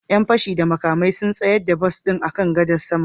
Roba dauke da makamai ya tsayar da bas din akan gadar sama